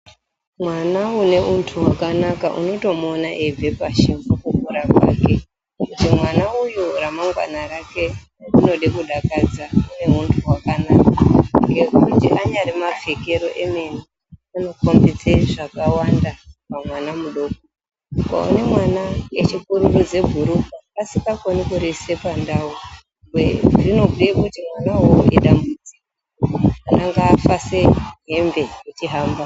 Mwana une untu hwakanaka unotomuona eibve pashi mukukura kwake kuti mwana uyu ramangwana rake rinode kudakadza rine huntu hwakanaka ngekuti anyari mapfekero emene anokombidze zvakawanda pamwana mudoko. Ukaone mwana echipururudze bhurukwa asingakoni kuriise pandau zvinobhuye kuti mwanawo uwowo idambudziko. Mwana ngaafaseye hembe echihamba.